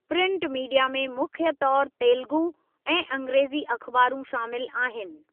Print media में मुख्य तौरु तेलुगू ऐं अंग्रेज़ी अखबारूं शामिलु आहि्नि।